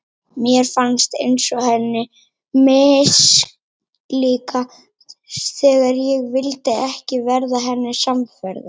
Mér fannst eins og henni mislíkaði þegar ég vildi ekki verða henni samferða.